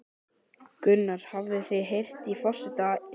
Gunnar: Hafið þið heyrt í forseta Íslands?